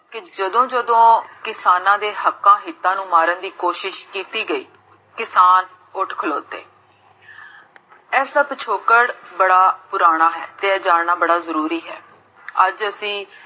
ਕੀ ਜਦੋਂ ਜਦੋਂ ਕਿਸਾਨਾ ਦੇ ਹੱਕਾਂ, ਨੂੰ ਮਾਰਨ ਦੀ ਕੋਸ਼ਿਸ਼ ਕੀਤੀ ਗਈ, ਕਿਸਾਨ ਉਠ ਖਲੋਤੇ ਇਸ ਤੋਂ ਪਿਛੋਕੜ ਬੜਾ ਪੁਰਾਣਾ ਹੈ, ਤੇ ਜਾਨਣਾ ਬੜਾ ਜਰੂਰੀ ਹੈ ਅੱਜ ਅਸੀਂ